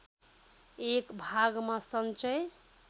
एक भागमा सञ्चय